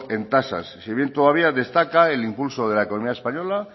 en tasas si bien todavía destaca el impulso de la economía española